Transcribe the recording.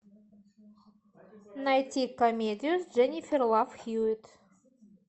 найти комедию с дженнифер лав хьюитт